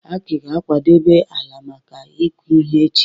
Aki ga-akwadebe ala maka ịkụ ihe echi.